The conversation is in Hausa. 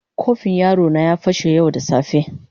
Kofin yaro na ya fashe yau da safe.